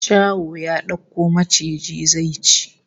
Shaho ya dauko maciji zai ci